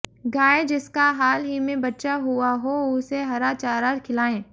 गाय जिसका हाल ही में बच्चा हुआ हो उसे हरा चारा खिलाएं